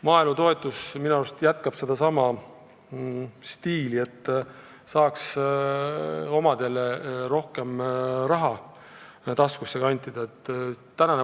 Maaelu toetamine minu arust jätkub samas stiilis, et saaks omadele rohkem raha taskusse kantida.